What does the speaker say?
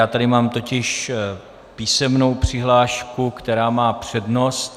Já tady mám totiž písemnou přihlášku, která má přednost.